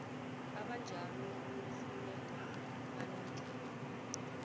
abanjalo kufuneka balethe